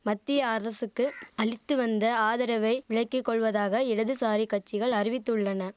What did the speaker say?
மத்திய அரசுக்கு அளித்துவந்த ஆதரவை விலக்கி கொள்வதாக இடதுசாரி கட்சிகள் அறிவித்துள்ளன